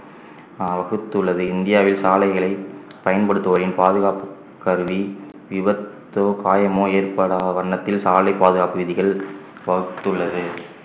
ஆஹ் வகுத்துள்ளது இந்தியாவில் சாலைகளை பயன்படுத்துவோரின் பாதுகாப்பு கருதி விபத்தோ காயமோ ஏற்படா வண்ணத்தில் சாலை பாதுகாப்பு விதிகள் வகுத்துள்ளது